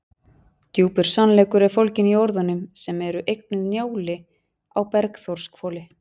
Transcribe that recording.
Djúpur sannleikur er fólginn í orðunum sem eru eignuð Njáli á Bergþórshvoli.